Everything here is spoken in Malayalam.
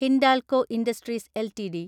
Hindalco industries LTD